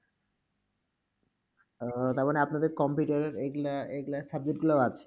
ও তার মানে আপনাদের computer এইগুলা, এইগুলা এই subject গুলাও আছে।